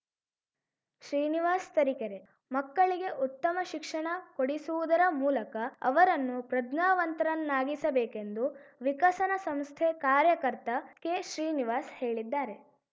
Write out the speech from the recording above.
ಶ್ರೀನಿವಾಸ್‌ ತರೀಕೆರೆ ಮಕ್ಕಳಿಗೆ ಉತ್ತಮ ಶಿಕ್ಷಣ ಕೊಡಿಸುವುದರ ಮೂಲಕ ಅವರನ್ನು ಪ್ರಜ್ಞಾವಂತರನ್ನಾಗಿಸಬೇಕೆಂದು ವಿಕಸನ ಸಂಸ್ಥೆ ಕಾರ್ಯಕರ್ತ ಕೆಶ್ರೀನಿವಾಸ್‌ ಹೇಳಿದ್ದಾರೆ